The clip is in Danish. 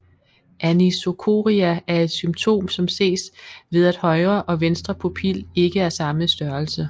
Anisocoria er et symptom som ses ved at højre og venstre pupil ikke er samme størrelse